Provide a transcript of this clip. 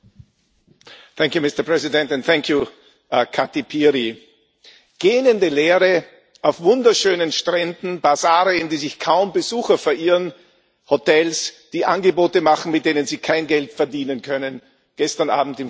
Herr Präsident! Vielen Dank, Kati Piri! Gähnende Leere auf wunderschönen Stränden, Basare, in die sich kaum Besucher verirren, Hotels, die Angebote machen, mit denen sie kein Geld verdienen können gestern Abend im Fernsehen.